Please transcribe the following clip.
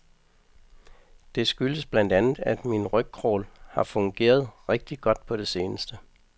Det skyldes blandt andet, at min ryg-crawl har fungeret rigtig godt på det seneste.